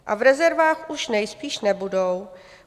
A v rezervách už nejspíš nebudou.